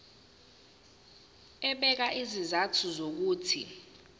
ebeka izizathu zokuthi